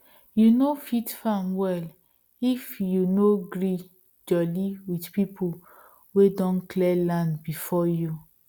you no fit farm well if you no gree jolly with people wey don clear land before you